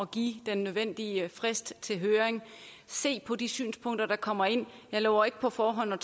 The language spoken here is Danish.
give den nødvendige frist til høring og se på de synspunkter der kommer ind jeg lover ikke på forhånd at